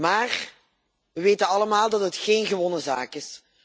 Maar we weten allemaal dat het geen gewonnen zaak is.